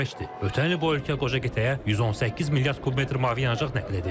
Ötən il bu ölkə qoca qitəyə 118 milyard kubmetr mavi yanacaq nəql edib.